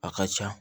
A ka ca